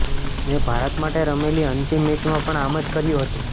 મેં ભારત માટે રમેલી અંતિમ મેચમાં પણ આમ જ કર્યુ હતુ